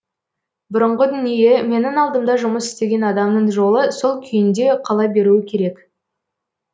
бұрынғы дүние менің алдымда жұмыс істеген адамның жолы сол күйінде қала беруі керек